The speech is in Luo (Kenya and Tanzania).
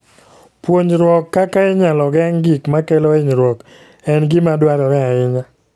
Puonjruok kaka inyalo geng' gik makelo hinyruok en gima dwarore ahinya.